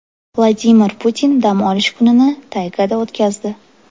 Vladimir Putin dam olish kunini taygada o‘tkazdi.